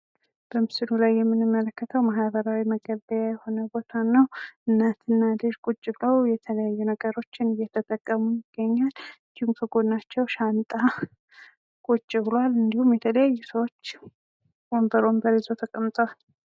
በምስሉ ላይ የምንመለከተው ማህበራዊ መገልገያ የሆነን ቦታን ነው። እናትና ልጅ ቁጭ በለው የተለያዩ ነገሮችን እየተጠቀሙ ይገኛል። ከጎናቸው ሻንጣ ቁጭ ብሏል እንዲሁም የተለያዩ ሰዎች ወንበር ወንበር ይዘው ተቀምጠዋል።